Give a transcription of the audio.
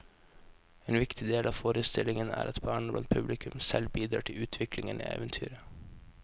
En viktig del av forestillingen er at barna blant publikum selv bidrar til utviklingen i eventyret.